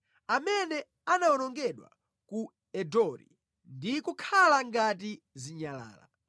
Amene anawonongedwa ku Endori ndi kukhala ngati zinyalala.